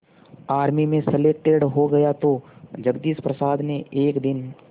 army में selected हो गया तो जगदीश प्रसाद ने एक दिन